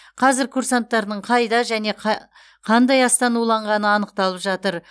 қазір курсанттардың қайда және қандай астан уланғаны анықталып жатыр